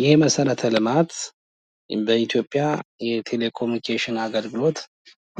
ይህ መሠረተ ልማት በኢትዮጵያ ቴሌ ኮሙኒኬሽን አገልግሎት